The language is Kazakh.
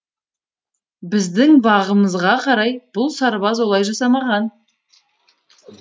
біздің бағымызға қарай бұл сарбаз олай жасамаған